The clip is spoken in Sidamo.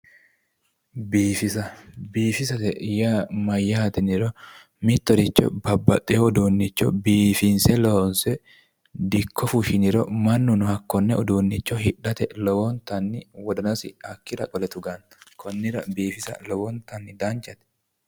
Biifisa, biifisate yaa mayyate yiniro mittoricho babbaxxewo uduunnicho biiffinse loonse dikko fushshiniro mannunonhakkone uduunne hidhate lowontanni wodanasi hakkira qole tuganno. konnira biifisa lowontay danchate.